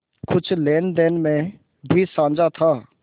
कुछ लेनदेन में भी साझा था